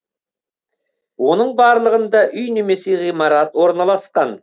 оның барлығында үй немесе ғимарат орналасқан